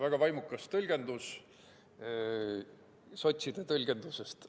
Väga vaimukas tõlgendus sotside tõlgendusest.